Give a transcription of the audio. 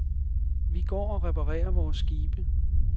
Vi går og reparerer vores skibe.